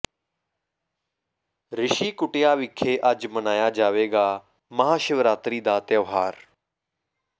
ਰਿਸ਼ੀ ਕੁਟੀਆ ਵਿਖੇ ਅੱਜ ਮਨਾਇਆ ਜਾਵੇਗਾ ਮਹਾਸ਼ਿਵਰਾਤਰੀ ਦਾ ਤਿਉਹਾਰ